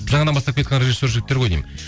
жаңадан бастап келеатқан режиссер жігіттер ғой деймін